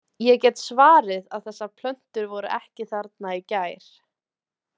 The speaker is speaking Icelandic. Ég get svarið að þessar plöntur voru ekki þarna í gær.